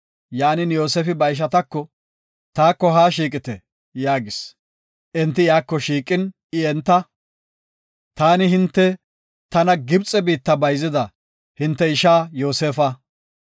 Yaanin, Yoosefi ba ishatako, “Taako haa shiiqite” yaagis. Enti iyako shiiqin I enta, “Taani hinte tana Gibxe biitta bayzida hinte ishaa Yoosefa.